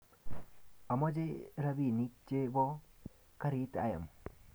Amache rapinik che bo karit ayam